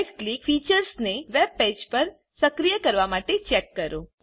right click featuresને web page પર સક્રિય કરવા માટે ચેક કરો